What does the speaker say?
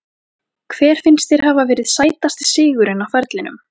Hver finnst þér hafa verið sætasti sigurinn á ferlinum?